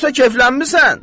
Yoxsa keflənmisən?